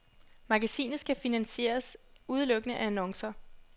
Magasinet skal finansieres udelukkende af annoncer.